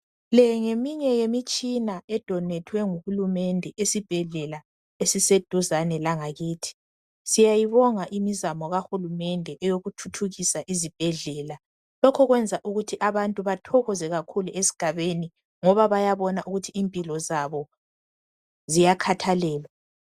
leyi ngeminye yemitshina edonethwe nguhulumende esibhedlela esiseduzane langakithi siyayibonga imizamo kahulumende yokuthuthukisa izibhedlela lokho kuyenza abantu bathokoze kakhulu esigabeni ngoba bayabona ukuthi impilo zabo ziyakhathalelwa